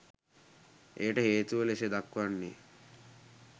එයට හේතුව ලෙස දක්වන්නේ